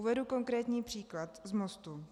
Uvedu konkrétní příklad z Mostu.